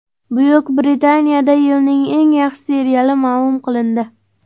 Buyuk Britaniyada yilning eng yaxshi seriali ma’lum qilindi.